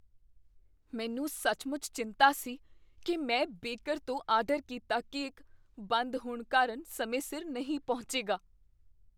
ਮੈਨੂੰ ਸੱਚਮੁੱਚ ਚਿੰਤਾ ਸੀ ਕੀ ਮੈਂ ਬੇਕਰ ਤੋਂ ਆਰਡਰ ਕੀਤਾ ਕੇਕ ਬੰਦ ਹੋਣ ਕਾਰਨ ਸਮੇਂ ਸਿਰ ਨਹੀਂ ਪਹੁੰਚੇਗਾ।